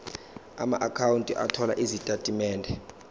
amaakhawunti othola izitatimende